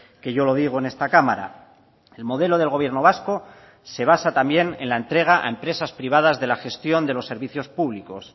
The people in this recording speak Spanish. que yo lo digo en esta cámara el modelo del gobierno vasco se basa también en la entrega a empresas privadas de la gestión de los servicios públicos